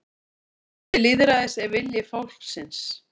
Kjarni lýðræðisins er vilji fólksins